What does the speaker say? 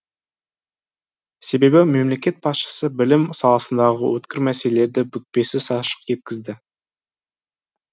себебі мемлекет басшысы білім саласындағы өткір мәселелерді бүкпесіз ашық жеткізді